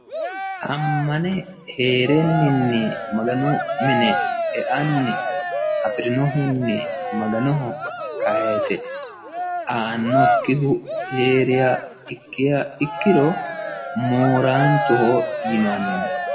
Amane heereninni maganu mine e'ani afirinohuni maganoho kayiise aanokiha heeriha ikkiha ikkir mooraancho yinani